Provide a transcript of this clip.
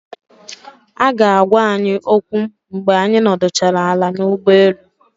Aga agwa anyi okwu mgbe anyị nọdụchara ala n'ụgbọelu